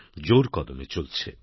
জোর কদমে চলছে